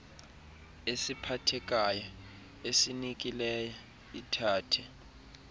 esiphathekayo esinikileyo ithathe